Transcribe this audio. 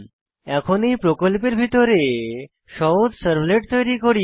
এখন এই প্রকল্পের ভিতরে সহজ সার্ভলেট তৈরি করি